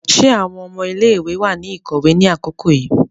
Ṣe awọn ọmọ ilé-ìwé wà ní ikọwe ni àkókò yìí?